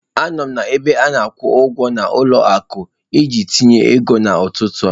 Anọ m na ebe ana-akwụ ụgwọ na ụlọ akụ iji tinye ego n'ụtụtụ a.